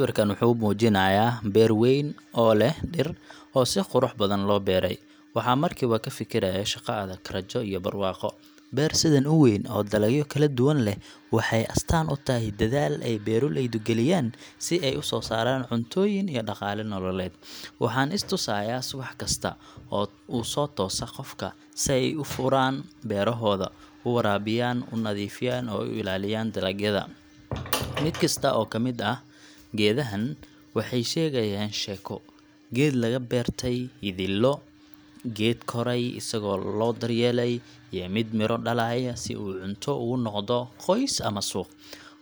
Markaan arko beertan oo leh dhir badan oo si qurux badan loo beeray, waxaan markiiba ka fikirayaa shaqo adag, rajo, iyo barwaaqo. Beer sidan u weyn oo dalagyo kala duwan leh waxay astaan u tahay dadaal ay beeraleydu geliyaan si ay u soo saaraan cuntoyin iyo dhaqaale nololeed. Waxaan is tusayaa subax kasta u sootoosa qofka si ay u furaan beerahooda, waraabiyaan, nadiifiyaan, oo ay u ilaaliyaan dalagyada. Mid kasta oo ka mid ah geedahan waxay sheegayaan sheeko: geed laga beertay yididiilo, geed koray isagoo la daryeelay, iyo mid miro dhalaya si uu cunto ugu noqdo qoys ama suuq.